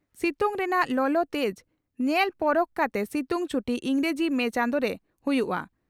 ᱥᱤᱛᱩᱝ ᱨᱮᱱᱟᱜ ᱞᱚᱞᱚ ᱛᱮᱡᱽ ᱧᱮᱞ ᱯᱚᱨᱚᱠ ᱠᱟᱛᱮ ᱥᱤᱛᱩᱝ ᱪᱷᱩᱴᱤ ᱤᱸᱜᱽᱨᱟᱹᱡᱤ ᱢᱮ ᱪᱟᱸᱫᱩ ᱨᱮ ᱦᱩᱭᱩᱜᱼᱟ ᱾